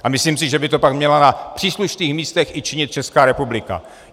A myslím si, že by to pak měla na příslušných místech i činit Česká republika.